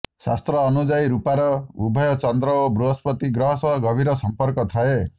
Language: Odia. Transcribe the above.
ଶାସ୍ତ୍ର ଅନୁଯାୟୀ ରୂପାର ଉଭୟ ଚନ୍ଦ୍ର ଓ ବୃହସ୍ପତି ଗ୍ରହ ସହ ଗଭୀର ସମ୍ପର୍କ ଥାଏ